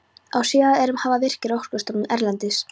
Á síðari árum hafa Virkir, Orkustofnun erlendis